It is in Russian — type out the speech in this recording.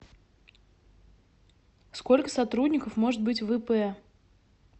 сколько сотрудников может быть в ип